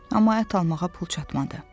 Amma ət almağa pul çatmadı.